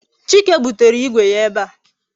Chike butere Igwe ya ebe a